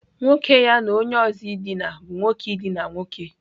Nwoke ya na onye ozo dina bu nwoke idina nwoke.